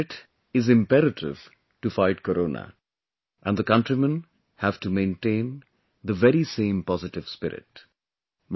Positive Spirit is imperative to fight Corona and the countrymen have to maintain the very same positive spirit